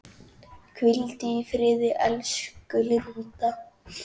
Hvíldu í friði elsku Linda.